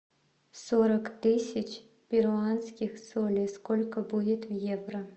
сорок тысяч перуанских солей сколько будет в евро